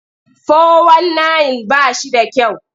Fo-wan-nayin ba shi da kyau.